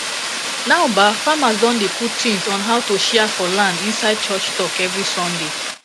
now bah farmers don dey put tins on how to cia for land inside church talk everi sunday